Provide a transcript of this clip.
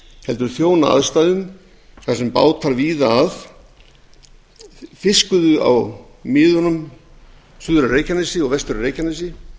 heldur þjóna aðstæðum þar sem bátar víða að fiskuðu á miðunum suður og vestur af reykjanesi